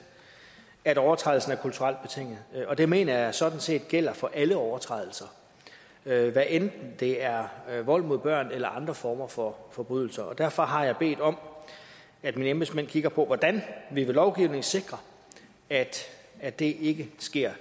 at overtrædelsen er kulturelt betinget det mener jeg sådan set gælder for alle overtrædelser hvad enten det er vold mod børn eller andre former for forbrydelser og derfor har jeg bedt om at mine embedsmænd kigger på hvordan vi ved lovgivning sikrer at at det ikke sker